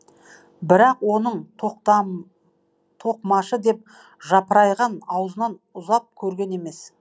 бірақ оның тоқмашы да жапырайған аузынан ұзап көрген емес